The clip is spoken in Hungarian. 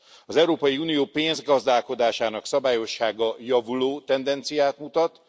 Az Európai Unió pénzgazdálkodásának szabályossága javuló tendenciát mutat.